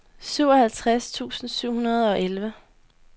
syvoghalvtreds tusind syv hundrede og elleve